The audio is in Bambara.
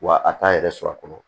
Wa a t'a yɛrɛ sɔrɔ a kɔnɔ